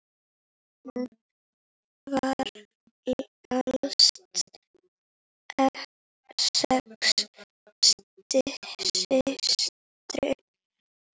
Hún var elst sex systra.